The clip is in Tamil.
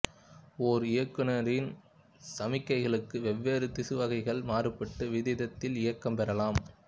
ஒரு இயக்குநீர் சமிக்ஞைகளுக்கு வெவ்வேறு திசு வகைகள் மாறுபட்ட விதத்தில் இயக்கம் பெறலாம்